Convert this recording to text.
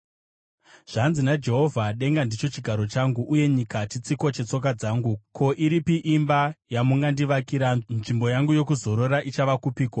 Zvanzi naJehovha: “Denga ndicho chigaro changu, uye nyika chitsiko chetsoka dzangu. Ko, iripi imba yamungandivakira? Nzvimbo yangu yokuzorora ichava kupiko?